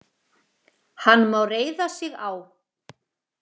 Hann má reiða sig á.